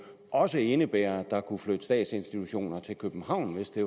også indebærer at der kunne flytte statsinstitutioner til københavn hvis det